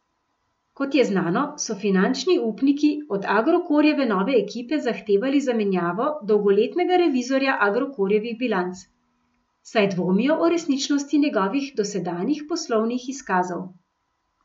Kot je znano, so finančni upniki od Agrokorjeve nove ekipe zahtevali zamenjavo dolgoletnega revizorja Agrokorjevih bilanc, saj dvomijo o resničnosti njegovih dosedanjih poslovnih izkazov.